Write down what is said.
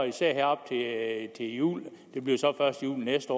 især her op til jul det bliver så først næste